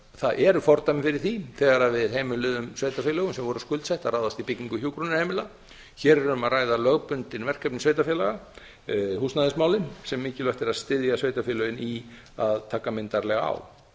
það eru fordæmi fyrir því þegar við heimiluðum sveitarfélögum sem voru skuldsett að ráðast í byggingu hjúkrunarheimila hér er um að ræða lögbundin verkefni sveitarfélaga húsnæðismálin sem mikilvægt er að styðja sveitarfélögin í að taka myndarlega á